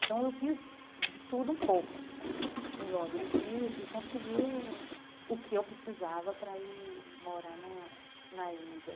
Então, eu fiz de tudo um pouco em Londres e e consegui o o que eu precisava para ir morar na na Índia.